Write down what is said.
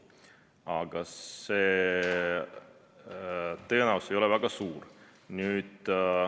Aga see tõenäosus ei ole väga suur.